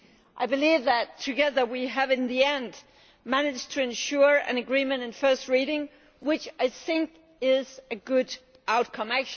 I believe that, together, we have in the end managed to ensure an agreement at first reading, which I think is a good outcome.